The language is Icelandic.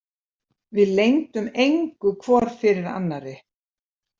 Við leyndum engu hvor fyrir annarri.